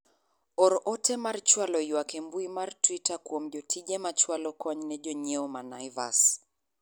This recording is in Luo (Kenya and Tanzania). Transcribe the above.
or ote mar chwalo ywak e mbui mar twita kuom jotije machwalo kony ne jonyiewo ma Naivas